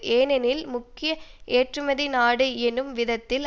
ஏனெனில் முக்கிய ஏற்றுமதி நாடு என்னும் விதத்தில்